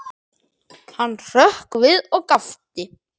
Hann hrökk við og gapti.